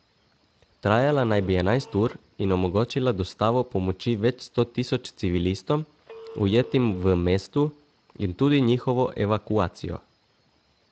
Trajala naj bi enajst ur in omogočila dostavo pomoči več sto tisoč civilistom, ujetim v mestu, in tudi njihovo evakuacijo.